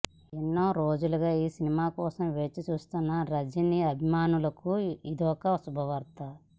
ఎన్నో రోజులుగా ఈ సినిమా కోసం వేచి చూస్తున్న రజినీ అభిమానులకు ఇదొక శుభవార్త